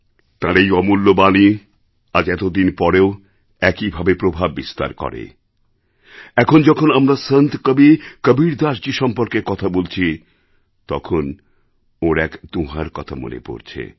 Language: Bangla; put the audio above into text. তাঁর এই অমূল্য বাণী আজ এতদিন পরেও একইভাবে প্রভাব বিস্তার করে এখন যখন আমরা সন্ত কবি কবীরদাসজী সম্পর্কে কথা বলছি তখন ওঁর এক দোঁহার কথা মনে পড়ছে